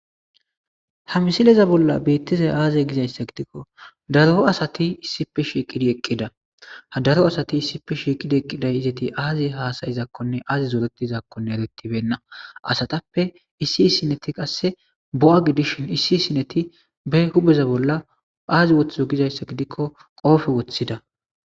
ha misileza bolla beettizay aaze gizayssa gidikko daro asati issipe shiiqidi eqqida hadaro asati issipe shiiqidi eqqiday izeti aazi haasayizaakkonne aazi zoretizakkonne erettibenna asatappe issi issineti qasse bo7a gidishin issi sineti be hubeza bolla aazi woththizo gizayssa gidikko qoofe woththida